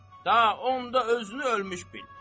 da onda özünü ölmüş bil.